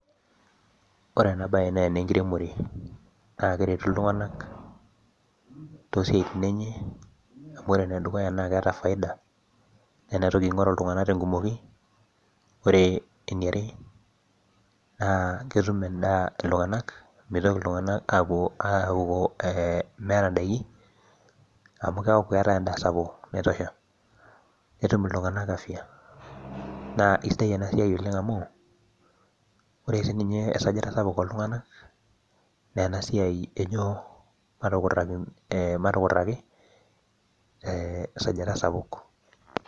Ore ena bae naa ene nkiremore naa ekeretu iltunganak, toosiatin enye amu ore ene dukuya naa keeta faida. ena toki ng'oru iltunganak tenkumoki, ore eniare naa ketum edaa iltunganak meitoki iltunganak aapuo aaku meeta daikin amu keeku keetae edaa sapuk naitosha. netum iltunganak afia. naa isaidia enaa siai Oleng amu, ore sii ninye esajata sapuk ooltunganak naa ena siai ejo matukiraki esajta sapuk.